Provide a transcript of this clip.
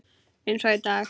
Eins og í dag.